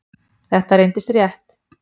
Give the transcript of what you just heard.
Þetta reyndist rétt.